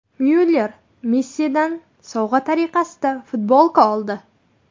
Myuller Messidan sovg‘a tariqasida futbolka oldi.